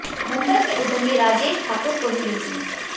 मुंबई के उद्यमी राजेश ठाकुर को ही लीजिए